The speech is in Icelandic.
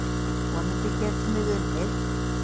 Vonandi getum við unnið.